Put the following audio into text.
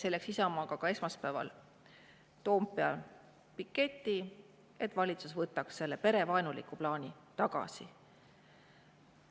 Selleks tegime Isamaaga esmaspäeval Toompeal ka piketi, et valitsus võtaks selle perevaenuliku plaani tagasi.